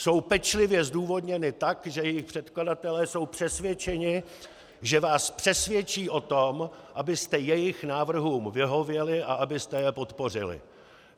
Jsou pečlivě zdůvodněny tak, že jejich předkladatelé jsou přesvědčeni, že vás přesvědčí o tom, abyste jejich návrhům vyhověli a abyste je podpořili.